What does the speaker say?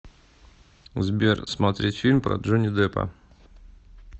сбер смотреть фильм про джони деппа